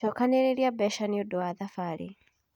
Cokanĩrĩria mbeca nĩ ũndũ wa thabarĩ.